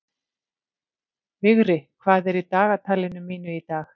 Vigri, hvað er í dagatalinu mínu í dag?